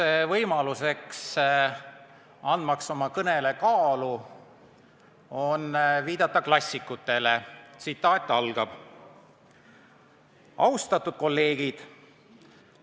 Üks võimalus anda oma kõnele kaalu on viidata klassikutele: "Austatud kolleegid!